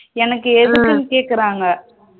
எனக்கு எதுக்குன்னு கேக்குறாங்க